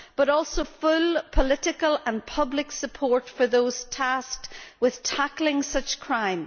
But we also need full political and public support for those tasked with tackling such crime.